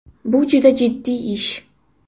Bu juda jiddiy ish.